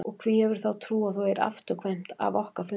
Og hví hefurðu þá trú að þú eigir afturkvæmt af okkar fundi?